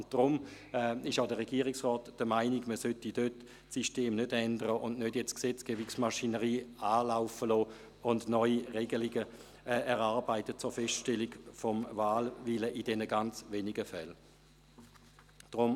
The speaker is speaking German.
Deshalb ist auch der Regierungsrat der Meinung, das System solle dort nicht geändert und die Gesetzesmaschinere jetzt nicht angeworfen werden, um neue Regelungen zur Feststellung des Wahlwillens in diesen ganz wenigen Fällen zu treffen.